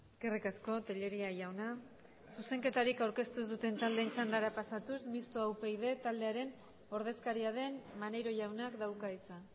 eskerrik asko tellería jauna zuzenketarik aurkeztu ez duten taldeen txandara pasatuz mistoa upyd taldearen ordezkaria den maneiro jaunak dauka hitza